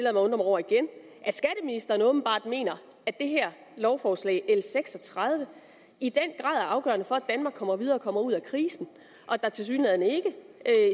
at undre mig over igen at det her lovforslag l seks og tredive i den er afgørende for at danmark kommer videre og kommer ud af krisen og at der tilsyneladende ikke